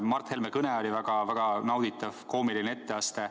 Mart Helme kõne oli väga-väga nauditav koomiline etteaste.